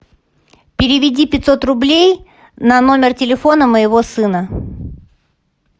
переведи пятьсот рублей на номер телефона моего сына